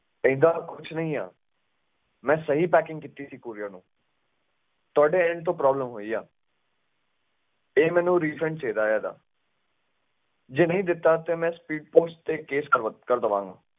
ਏਦਾਂ ਦਾ ਕੁਛ ਨੀ ਆ, ਮੈਂ ਸਹੀ packing ਕੀਤੀ ਸੀ courier ਨੂੰ ਤੁਹਾਡੇ end ਤੋਂ problem ਹੋਈ ਆ ਤੇ ਮੈਨੂੰ refund ਚਾਹੀਦਾ ਇਹਦਾ ਜੇ ਨਹੀਂ ਦਿੱਤਾ ਤੇ ਮੈਂ speed post ਤੇ case ਕਰ ਕਰ ਦੇਵਾਂਗਾ।